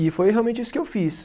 E foi realmente isso que eu fiz.